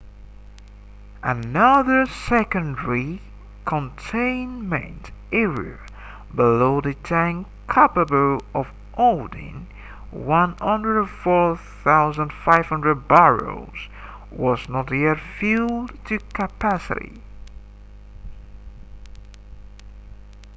another secondary containment area below the tanks capable of holding 104,500 barrels was not yet filled to capacity